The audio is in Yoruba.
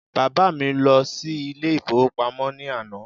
Bàbá mi lọ sí ilé ìfowópamọ́ ní àná